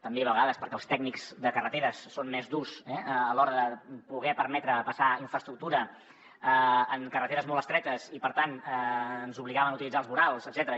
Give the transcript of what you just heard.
també a vegades perquè els tècnics de carreteres són més durs a l’hora de poder permetre passar infraestructura en carreteres molt estretes i per tant ens obligaven a utilitzar els vorals etcètera